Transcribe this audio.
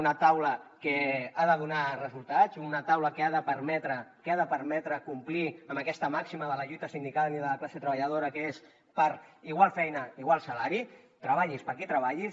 una taula que ha de donar resultats una taula que ha de permetre complir amb aquesta màxima de la lluita sindical i de la classe treballadora que és per igual feina igual salari treballis per a qui treballis